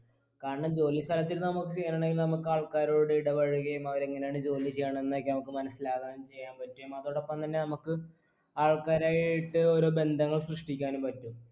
കാരണം ജോലി സ്ഥലത്തിരുന്ന് നമുക്ക് നമുക്കൾക്കാരോട് ഇടപഴകയും അവരെങ്ങനാണ് ജോലി ചെയ്യണെ എന്നൊക്കെ നമക്ക് മനസ്സിലാകാനും ചെയ്യാൻ പറ്റും അതോടൊപ്പം തന്നെ നമ്മക്ക് ആൾക്കാരായിട്ട് ഓരോ ബന്ധങ്ങൾ സൃഷ്ടിക്കാനും പറ്റും